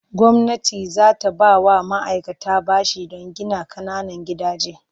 Gwamnati za ta ba wa ma'aikata bashi don gina ƙananan gidaje.